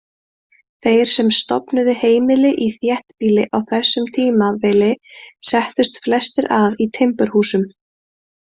Þeir sem stofnuðu heimili í þéttbýli á þessu tímabili settust flestir að í timburhúsum.